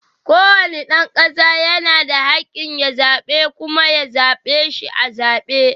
Kowane dan kasa yana da hakkin ya zaɓa kuma a zaɓe shi a zabe.